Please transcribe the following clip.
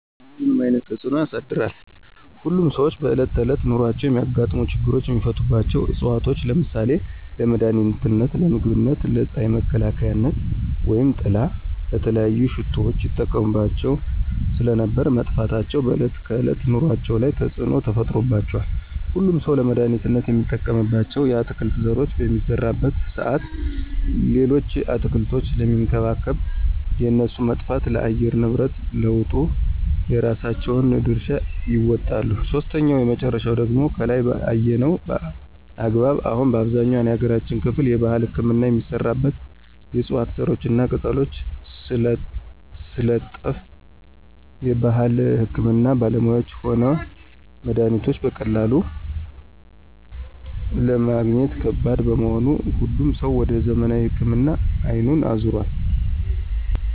ሁሉንም አይነት ተፅኖ አሳድሯል። ሁሉም ሰዎች በእለት ተዕለት ኑሯቸው የሚያጋጥሙ ችግሮችን የሚፈቱባቸው ዕፅዋቶች ለምሳሌ :- ለመድሀኒትነት, ለምግብነት, ለፅሀይ መከላከያነት/ጥላ/,ለተለያዩ ሽቶዎች ይጠቀሙባቸው ስለነበር መጥፋታቸው በዕለት ከዕለት ኑሮአቸው ላይ ተፅዕኖ ተፈጥሮባቸዋል። ሁሉም ሠው ለመድሀኒትነት የሚጠቀምባቸውን የአትክልት ዘሮች በሚዘራበት ሰአት ሌሎችን አትክልቶች ስለሚንከባከብ የእነሱ መጥፋት ለአየር ንብረት ለውጡ የራሳቸውን ድርሻ ይወጣሉ። ሶስተኛውና የመጨረሻው ደግሞ ከላይ በአየነው አግባብ አሁን በአብዛኛው የሀገራችን ክፍል የባህል ህክምና የሚሰራበት የዕፅዋት ዘሮችና ቅጠሎች ስለጠፍ የባህል ህክምና ባለሙያዎችም ሆነ መድሀኒቶች በቀላሉ ለማግኘት ከባድ በመሆኑ ሁሉም ሰው ወደ ዘመናዊ ህክምና አይኑን አዞሯል።